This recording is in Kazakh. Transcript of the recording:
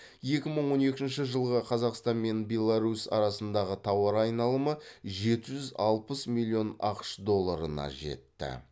екі мың он екінші жылғы қазақстан мен беларусь арасындағы тауар айналымы жеті жүз алпыс миллион ақш долларына жетті